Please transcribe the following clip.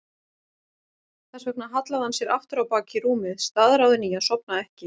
Þess vegna hallaði hann sér aftur á bak í rúmið, staðráðinn í að sofna ekki.